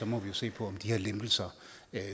må vi jo se på om de her lempelser